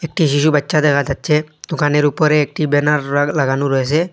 একটি শিশুবাচ্ছা দেখা যাচ্ছে দোকানের ওপরে একটি ব্যানার রা লাগানো রয়েছে।